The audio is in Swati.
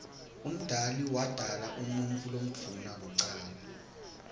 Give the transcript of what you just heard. umdali wodala umuutfu lomdouna kucala